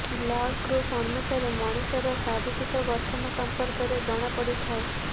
blood group ଅନୁସାରେ ମଣିଷର ଶାରୀରିକ ଗଠନ ସଂପର୍କରେ ଜଣା ପଡିଥାଏ